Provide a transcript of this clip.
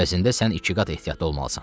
Əvəzində sən iki qat ehtiyatlı olmalısan.